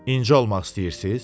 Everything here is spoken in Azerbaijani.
İncə olmaq istəyirsiz?